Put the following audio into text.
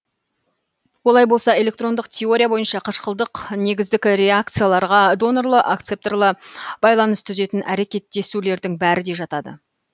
олай болса электрондық теория бойынша қышқылдық негіздік реакцияларға донорлы акцепторлы байланыс түзетін әрекеттесулердің бәрі де жатады